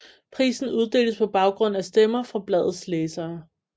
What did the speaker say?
Prisen uddeles på baggrund af stemmer fra bladets læsere